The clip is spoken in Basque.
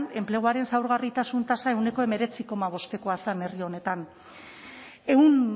enpleguaren zaurgarritasun tasa ehuneko hemeretzi koma bostekoa zen herri honetan ehun